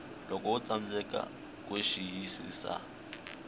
loko wo tsandzeka ku xiyisisa